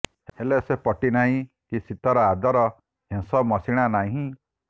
ହେଲେ ସେ ପଟି ନାହିଁ କି ଶୀତର ଆଦର ହେଁସ ମଶିଣା ନାହିଁ